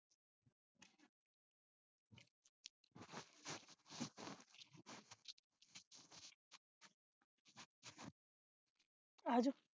ਆਜੋ